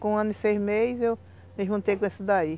Com um ano e seis meses eu me juntei com esse daí.